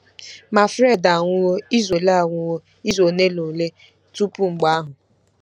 Ma, Fred anwụwo izu ole anwụwo izu ole na ole tupu mgbe ahụ.